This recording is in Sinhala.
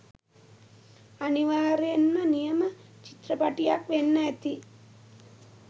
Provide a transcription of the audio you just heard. අනිවාර්යයෙන්ම නියම චිත්‍රපටියක් වෙන්න ඇති.